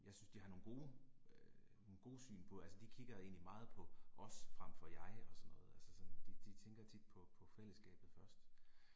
Jeg synes de har nogle gode øh nogle gode syn på, altså de kigger egentlig meget på os frem for jeg og sådan noget altså sådan de tænker tit på på fællesskabet først